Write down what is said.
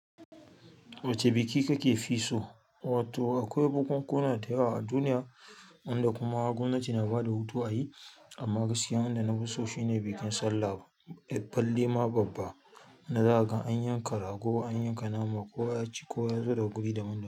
Wace biki kake so? Wato akwai bukunkuna da yawa a duniya wanda kuma gwamnati na ba da hutu a yi. Amma gaskiyan da na fi so shine bikin sallah. Balle ma babba, wanda zakaga an yanka rago, an yanka nama, kowa ya ci, kowa ya zo daga guri daban daban.